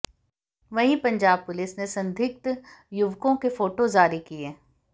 वहीं पंजाब पुलिस ने संदिग्ध युवकों के फोटो जारी किये